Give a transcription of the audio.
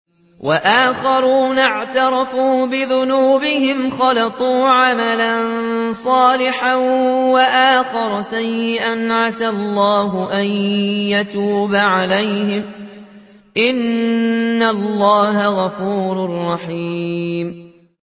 وَآخَرُونَ اعْتَرَفُوا بِذُنُوبِهِمْ خَلَطُوا عَمَلًا صَالِحًا وَآخَرَ سَيِّئًا عَسَى اللَّهُ أَن يَتُوبَ عَلَيْهِمْ ۚ إِنَّ اللَّهَ غَفُورٌ رَّحِيمٌ